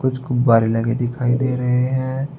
कुछ गुब्बारे लगे दिखाई दे रहे हैं।